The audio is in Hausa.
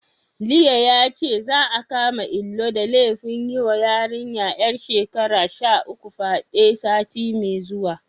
Liye yace, za'a kama Ilu da laifin yiwa yarinya ƴar shekara sha uku fyaɗe, sati mai zuwa.